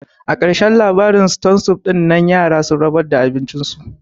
A ƙarashen labarin ston sup dinnan yara sun rabar da abin cin su